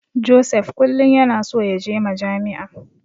Joseph kullum yana so yaje Majami'a.